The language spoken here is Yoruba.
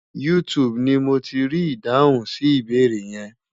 YouTube ni mo ti rí ìdáhùn sí ìbéèrè yẹn.